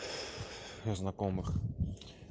у знакомых